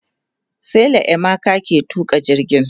sela emeka ke tuƙa jirgin